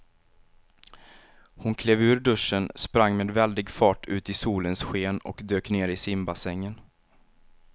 Hon klev ur duschen, sprang med väldig fart ut i solens sken och dök ner i simbassängen.